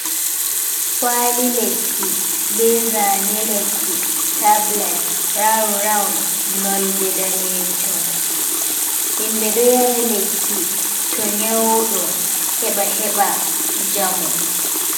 Kwali lekki be zane lekki tablet round-round nolde danejum. Himɓe ɗo yara lekki to nyauɗo heɓa heɓa njamu.